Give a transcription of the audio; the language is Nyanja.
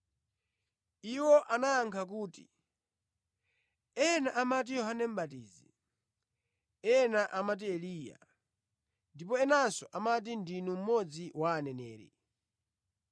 Iwo anayankha kuti, “Ena amati Yohane Mʼbatizi; ena amati Eliya; ndipo enanso amati ndinu mmodzi wa aneneri.”